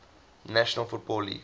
national football league